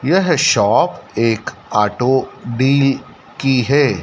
यह शॉप एक auto deal की है।